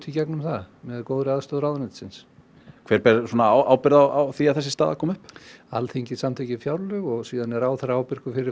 í gegnum það með góðri aðstoð ráðuneytisins hver ber ábyrgð á því að þessi staða kom upp Alþingi samþykkir fjárlög og síðan er ráðherra ábyrgur fyrir